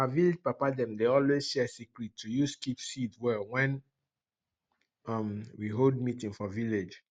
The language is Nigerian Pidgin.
our vilage papa dem dey always share secret to use keep seed well wen um we hold meeting for village